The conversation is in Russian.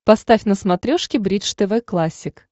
поставь на смотрешке бридж тв классик